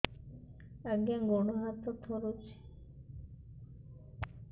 ଆଜ୍ଞା ଗୋଡ଼ ହାତ ଥରୁଛି